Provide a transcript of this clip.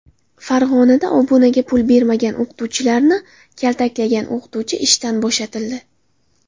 Farg‘onada obunaga pul bermagan o‘quvchilarni kaltaklagan o‘qituvchi ishdan bo‘shatildi.